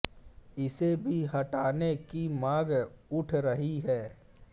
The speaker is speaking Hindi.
इसे भी हटाने की मांग उठ रही है